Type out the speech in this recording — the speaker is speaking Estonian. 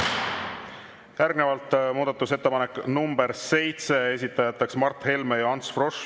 Järgnevalt muudatusettepanek nr 7, esitajateks Mart Helme ja Ants Frosch.